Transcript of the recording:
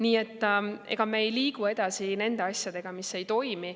Nii et ega me ei liigu edasi nende asjadega, mis ei toimi.